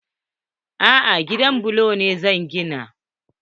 A'a, gidan bulo ne zan gina.